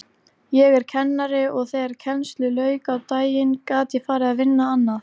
Ég er kennari og þegar kennslu lauk á daginn gat ég farið að vinna annað.